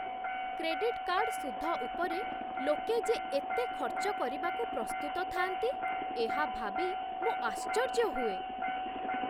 Credit card ସୁଧ ଉପରେ ଲୋକେ ଯେ ଏତେ ଖର୍ଚ୍ଚ କରିବାକୁ ପ୍ରସ୍ତୁତ ଥାଆନ୍ତି, ଏହା ଭାବି ମୁଁ ଆଶ୍ଚର୍ଯ୍ୟ ହୁଏ।